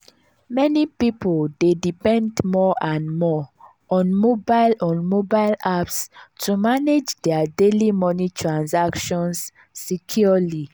meni pipul dey depend more and more on mobile on mobile apps to manage dia daily moni transactions securely.